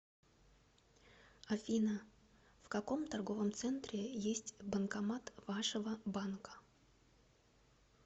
афина в каком торговом центре есть банкомат вашего банка